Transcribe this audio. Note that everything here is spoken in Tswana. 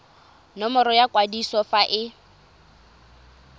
nomoro ya kwadiso fa e